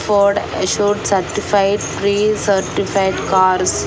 Ford assured certified pre certified cars --